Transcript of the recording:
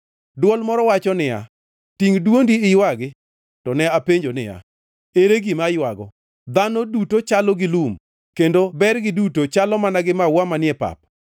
Dwol moro wacho niya, “Tingʼ dwondi iywagi.” To ne apenjo niya, “Ere gima aywago?” “Dhano duto chalo gi lum, kendo bergi duto chalo mana gi maua manie pap.